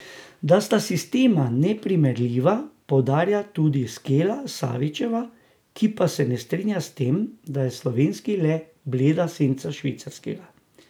Da sta sistema neprimerljiva, poudarja tudi Skela Savičeva, ki pa se ne strinja s tem, da je slovenski le bleda senca švicarskega.